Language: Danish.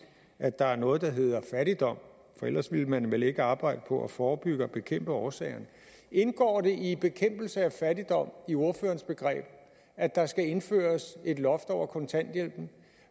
at der er noget der hedder fattigdom for ellers ville man vel ikke arbejde på at forebygge og bekæmpe årsagerne indgår det begreber i bekæmpelse af fattigdom at der skal indføres et loft over kontanthjælpen